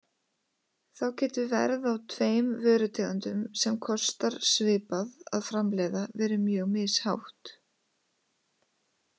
Þá getur verð á tveim vörutegundum sem kostar svipað að framleiða verið mjög mishátt.